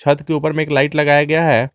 छत के ऊपर में एक लाइट लगाया गया है।